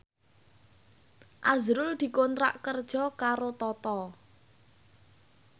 azrul dikontrak kerja karo Toto